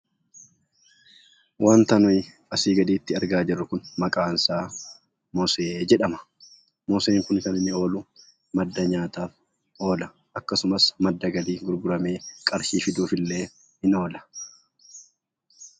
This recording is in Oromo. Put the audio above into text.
Wanta nuyi asii gaditti argaa jirru kun maqaansaa moosee jedhama. Mooseen kun kan inni oolu madda nyaataaf oola. Akkasumas madda galii gurguramee qarshii fiduuufillee ni oola.